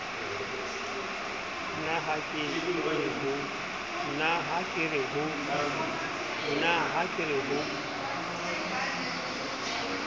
na ha ke re ho